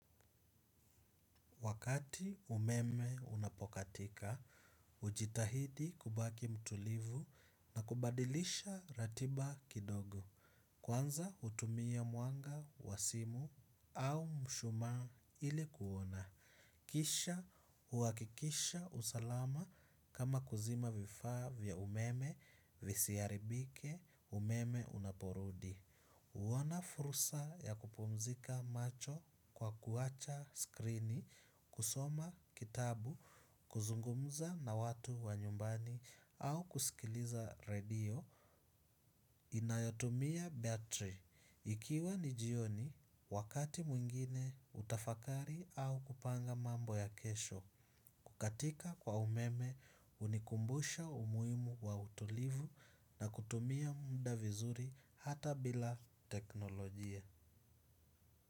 Wakati umeme unapokatika, hujitahidi kubaki mtulivu na kubadilisha ratiba kidogo. Kwanza hutumia mwanga, wa simu au mshumaa ilikuona. Kisha huhakikisha usalama kama kuzima vifaa vya umeme, visiharibike, umeme unaporudi. Huona fursa ya kupumzika macho kwa kuacha skrini, kusoma kitabu, kuzungumza na watu wa nyumbani au kusikiliza radio, inayotumia batri. Ikiwa ni jioni, wakati mwingine hutafakari au kupanga mambo ya kesho kukatika kwa umeme unikumbusha umuhimu wa utulivu na kutumia muda vizuri hata bila teknolojia.